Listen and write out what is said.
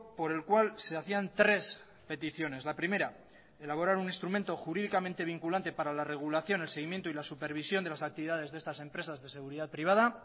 por el cual se hacían tres peticiones la primera elaborar un instrumento jurídicamente vinculante para la regulación el seguimiento y la supervisión de las actividades de estas empresas de seguridad privada